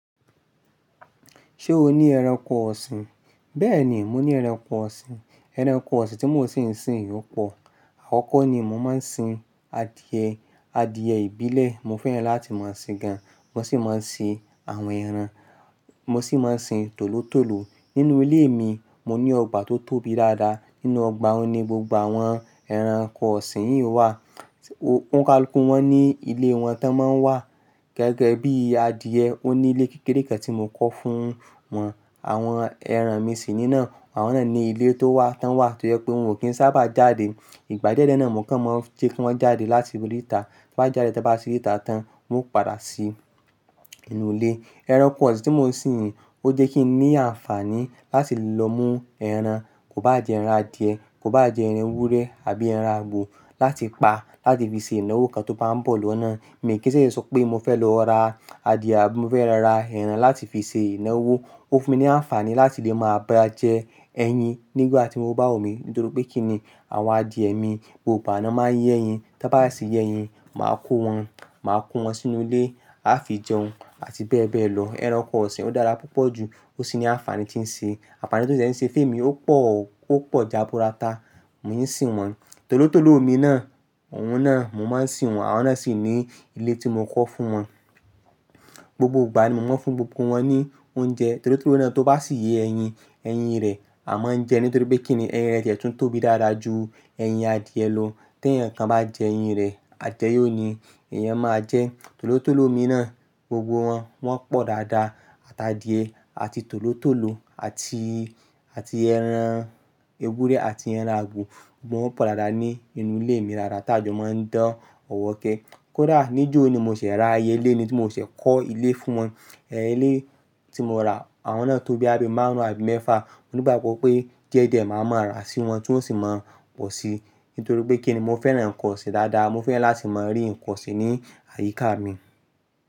Ṣé o ní ẹranko ọ̀sìn? Bẹ́ẹ̀ni, mo ní ẹranko ọ̀sìn. Ẹranko ọ̀sìn tí mo ṣì ń sìn ò pọ̀. Àkọ́kọ́ ni mo máa ń sin adìẹ, adìẹ ìbílẹ̀ mo fẹ́ràn láti máa sìn gan. Mo sì máa ń sin àwọn ẹran, mo sì máa ń sin tòlótòló. Nínú ilé mi, mo ní ọgbà tó tóbi dáadáa. Nínú ọgbà, ó ní gbogbo àwọn ẹranko ọ̀sìn yìí wà. Ó ń kálukù wọn ní ilé wọn tá ń máa ń wà. Gẹ́gẹ́ bí adìẹ, ó ní ilé kékeré kan tí mo kọ́ fún wọn. Àwọn ẹran mi sì nínà. Àwọn náà ní ilé tó wà tá ń wà tó jẹ́ pé wọn ò kí ń sábà jáde. Ìgbà diẹ́ diẹ̀ náà mò kàn máa ń jẹ́ kí wọ́n jáde láti ri ìta. Tí wọ́n bá jáde, tí wọ́n bá rí ìta tán, wọn ó padà sí inú ilé. Ẹranko ọ̀sìn tí mò ń sìn yìí ó jẹ́ kí n ní àǹfààní láti lọ mú ẹran. Kò bá à jẹ ẹran adìẹ, kò bá à jẹ ẹran ewúrẹ́ àbí ẹran àgbò láti pa láti fi ṣe ìnáwó kan tó bá ń bọ̀ lọ́nà. Mi kò ṣèṣè sọ pé mo fẹ́ lọ ra adìẹ àbí mo fẹ́ lọ ra ẹran láti fi ṣe ìnáwó. Ó fún mi ní àǹfààní láti lè máa bá jẹ ẹyin nígbà tí o bá wumí nítorí pé kíni àwọn adìẹ mi gbogbo ìgbà ná máa ń yé ẹyin. Tan bá sì yé ẹyin, màá kó wọn, màá kó wọn sínú ilé, a fi jẹun àti bẹ́ẹ̀ bẹ́ẹ̀ lọ. Ẹranko ọ̀sìn ó dára púpọ̀ ju. Ó sì ní àǹfààní tí ń ṣe. Àǹfààní tí ó ṣẹ̀ ṣe fẹ́ mi ó pọ̀, ó pọ̀ jábu rata. Mo sì ń sìn wọ́n. Tòlótòló mi náà, òun náà mo máa ń sìn wọ́n. Àwọn náà sì ní ilé tí mo kọ́ fún wọn. Gbogbo ìgbà ni mo máa ń fún gbogbo wọn ní oúnjẹ. Tòlótòló náà tó bá sì yé ẹyin, ẹyin rẹ̀ a máa ń jẹ nítorí pé kíni ẹyin rẹ̀ tiẹ́ tún tóbi dáadáa ju ẹyin adìẹ lọ. Tí ẹnìkan bá jẹ ẹyin rẹ̀, ajẹ yóò ní i. Èèyàn máa jẹ tòlótòló mi náà, gbogbo wọn, wọ́n pọ̀ dáadáa. Àti adìẹ àti tòlótòló àti, àti ẹran ewúrẹ́ àti ẹran àgbò, gbogbo wọn pọ̀ dáadáa ní inú ilé mi dáadáa tájọ́ máa ń dán ọ̀wọ̀kẹ́. Kódà níjò ni mo ṣẹ̀ ra iyé ilé ni tí mo ṣẹ̀ kọ́ ilé fún wọn. Ẹ̀ ilé tí mo ra, àwọn náà tó bóyá bi márùn-ún àbí mẹ́fa. Mo ní ìbágbọ́ pé díẹ̀ díẹ̀ màá máa ra sí wọn tí wọ́n sì máa pọ̀ si. Nítorí pé kíni mo fẹ́ràn ǹkan ọ̀sìn dáadáa. Mo fẹ́ràn láti máa rí ǹkan ọ̀sìn ní àyíká mi.